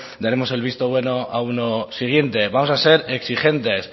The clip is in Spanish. daremos el visto bueno a uno siguiente vamos a ser exigentes